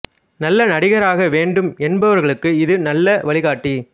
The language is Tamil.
நல்ல நடிகராக வேண்டும் என்பவர்களுக்கு இதுவே ஒரு நல்ல வழிகாட்டி